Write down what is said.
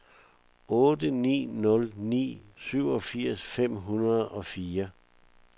otte ni nul ni syvogfirs fem hundrede og fire